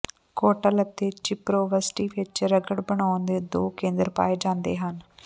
ਕੋਟਲ ਅਤੇ ਚਿਪਰੋਵਸਟੀ ਵਿਚ ਰਗੜ ਬਣਾਉਣ ਦੇ ਦੋ ਕੇਂਦਰ ਪਾਏ ਜਾਂਦੇ ਹਨ